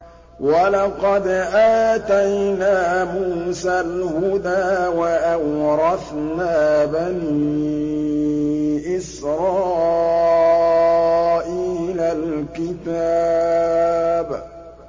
وَلَقَدْ آتَيْنَا مُوسَى الْهُدَىٰ وَأَوْرَثْنَا بَنِي إِسْرَائِيلَ الْكِتَابَ